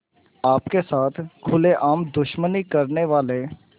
आपके साथ खुलेआम दुश्मनी करने वाले